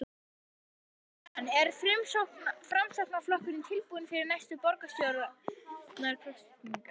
Jóhann: Er Framsóknarflokkurinn tilbúinn fyrir næstu borgarstjórnarkosningar?